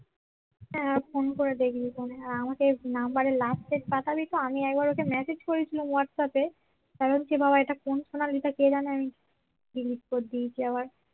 হ্যাঁ ফোন করে দেখবি ফোনে আর আমাকে নাম্বার এর last এর পাঠাবি তো আমি একবার ওকে message করেছিলাম হোয়াটসঅ্যাপ এ